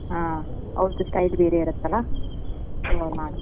ಹಾ ಅವರದೂ style ಬೇರೇ ಇರತಲಾ .